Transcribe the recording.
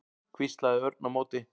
hvíslaði Örn á móti.